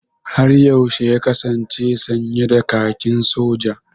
Har yaushe ya kasance sanye da kakin Soja?